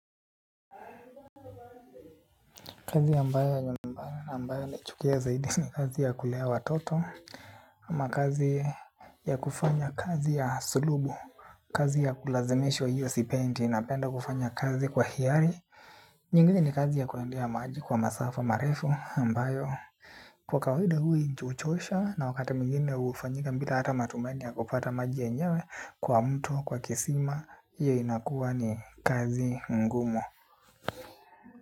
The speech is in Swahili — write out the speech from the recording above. Kazi ambayo ni mbaya na ambayo naichukia zaidi ni kazi ya kulea watoto. Ama kazi ya kufanya kazi ya sulubu. Kazi ya kulazimwishwa hiyo sipendi napenda kufanya kazi kwa hiari. Nyingine ni kazi ya kuendea maji kwa masafa marefu ambayo kwa kawaida hui huchosha na wakati mwingine hufanyika bila hata matumaani ya kupata maji yenyewe. Kwa mto, kwa kisima, hiyo inakuwa ni kazi ngumu.